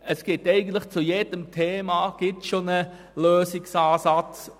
Es gibt eigentlich zu jedem Thema bereits einen Lösungsansatz.